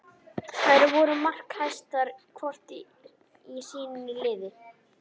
Þær voru markahæstar hvor í sínu liði.